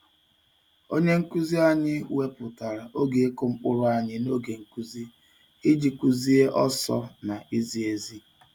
Onye nkuzi anyị wepụtara oge ịkụ mkpụrụ anyị n'oge nkuzi iji kuzie ọsọ na izi ezi.